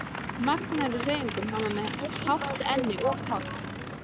magnaður í hreyfingum, hann var með hátt enni og koll